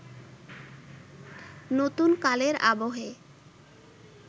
নতুন কালের আবহে